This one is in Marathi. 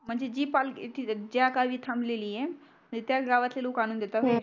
म्हंजी जी पालकी ज्या गावी अं थांबलीलिये त्याच गावातली लोक आणून देतात